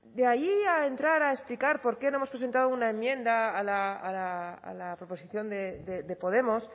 de ahí a entrar a explicar por qué hemos presentado una enmienda a la proposición de podemos